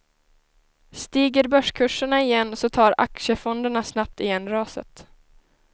Stiger börskurserna igen så tar aktiefonderna snabbt igen raset.